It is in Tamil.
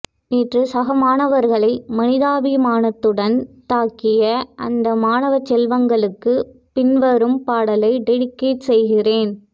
நேற்று சக மாணவர்களை மனிதாபிமானத்துடன் தாக்கிய அந்த மாணவச்செல்வங்களுக்கு பின் வரும் பாடலை டெடிக்கேட் செய்கிறேன்